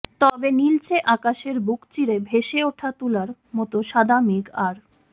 তবে নীলচে আকাশের বুক চিরে ভেসে ওঠা তুলার মতো সাদা মেঘ আর